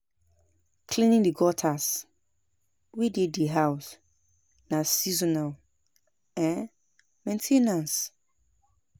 Cleaning the gutters wey dey di house na seasonal um main ten ance